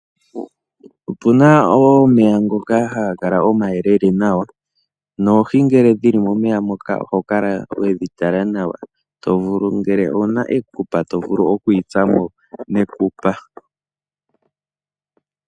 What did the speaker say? Opuna omeya ngoka hagakala omayelele nawa, noohi ngele dhili momeya moka oho kala wedhi tala nawa tovulu ngele owuna ekupa tovulu okuyitsamo nekupa.